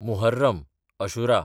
Muharram (Ashura)